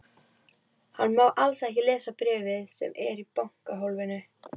Hann má alls ekki lesa bréfið sem er í bankahólfinu.